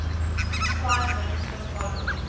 prime minister following